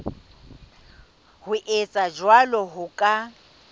ho etsa jwalo ho ka